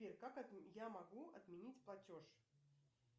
как я могу отменить платеж